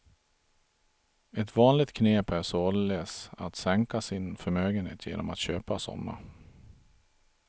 Ett vanligt knep är således att sänka sin förmögenhet genom att köpa sådana.